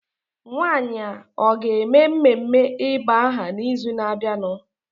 Nwanyị a ọ ga-eme mmeme ịba aha n'ịzụ na-abịanụ?